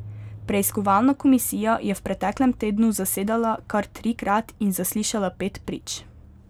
Preiskovalna komisija je v preteklem tednu zasedala kar trikrat in zaslišala pet prič.